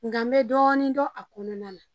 Nga n be dɔɔni dɔn a kɔnɔna na.